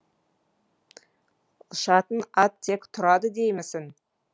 ұшатын ат тек тұрады деймісің